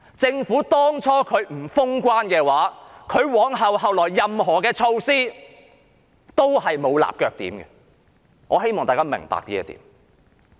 政府最初不肯封關，以致繼後實施的任何措施皆沒有立腳點，我希望大家明白這點。